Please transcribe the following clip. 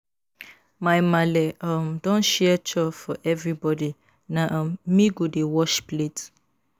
My maale um don share chore for everybodi, na um me go dey wash plate.